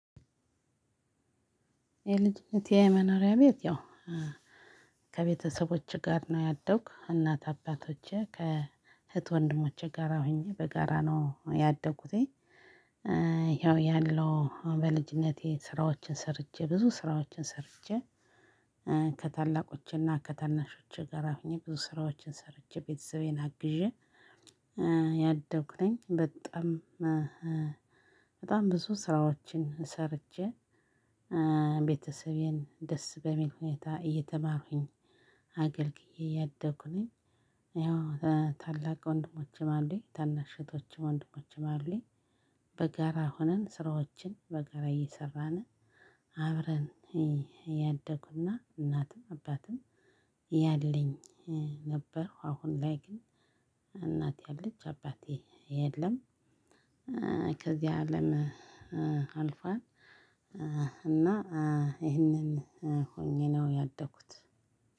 የልጅነቴ የመኖሪያ ቤት ያው ከቤተሰቦቼ ጋር ነው ያደግኩ እናት አባቶቼ ከእህት ወንድሞቼ ጋራ ሆኜ በጋራ ነው ያደኩትኝ። ይኸው ያለው በልጅነቴ ስራዎችን ሰርቼ ብዙ ስራዎችን ሰርቼ ከታላቆቼና ከታናሾቼ ጋር ሆኜ ብዙ ስራዎችን ሰርቼ ቤተሰቤን አግዤ። ያደኩ ነኝ በጣም በጣም ብዙ ስራዎችን ሰርቼ ቤተሰቤን ደስ በምል ሁኔታ እየተማርኩኝ አገልግዬ ያደኩ ነኝ። ያው ታላቅ ወንድሞችም አሉኝ ታናሽ እህቶችም ወንድሞችም አሉኝ። በጋራ ሆነን ስራዎችን በጋራ እየሰራን አብረን ያደኩ እና እናትም አባትም ያለኝ ነበርኩ። አሁን ላይ ግን እናቴ አለች አባቴ የለም። ከዚህ አለም አልፏል። እና ይሄንን ሆኜ ነው ያደኩት።